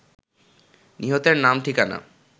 নিহতের নাম ঠিকানা